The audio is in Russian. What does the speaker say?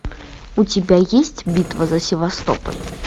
у тебя есть битва за севастополь